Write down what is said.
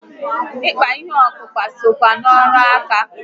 Ịkpa ihe ọkpụkpa sokwa na ọrụ ǹkà